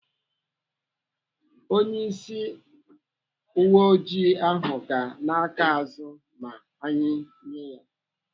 Onyeisi uweoji ahụ ga ana aka azụ ma anyị nye ya.